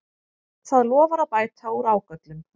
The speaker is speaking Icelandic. Það lofar að bæta úr ágöllum